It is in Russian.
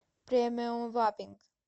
премиум вапинг